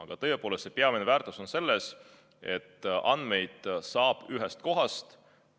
Aga tõepoolest, selle peamine väärtus on see, et andmeid saab ühest kohast.